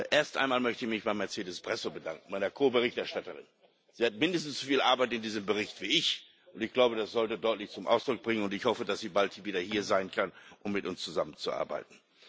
Erst einmal möchte ich mich bei Mercedes Bresso, meiner Ko Berichterstattern, bedanken. Sie hatte mindestens so viel Arbeit an diesem Bericht wie ich. Ich glaube, das sollte deutlich zum Ausdruck kommen und ich hoffe, dass sie bald wieder hier sein kann, um mit uns zusammenzuarbeiten.